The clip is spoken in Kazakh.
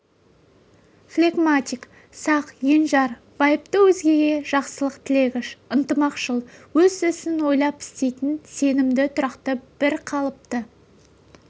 флегматик сақ енжар байыпты өзгеге жақсылық тілегіш ынтымақшыл өз ісін ойлап істейтін сенімді тұрақты бір қалыпты